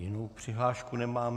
Jinou přihlášku nemám.